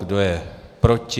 Kdo je proti?